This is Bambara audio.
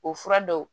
O fura dɔw